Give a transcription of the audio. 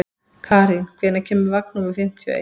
Karín, hvenær kemur vagn númer fimmtíu og eitt?